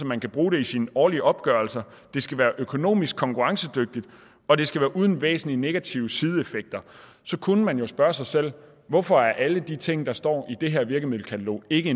man kan bruge dem i sine årlige opgørelser de skal være økonomisk konkurrencedygtige og de skal være uden væsentlige negative sideeffekter så kunne man jo spørge sig selv hvorfor alle de ting der står i det her virkemiddelkatalog ikke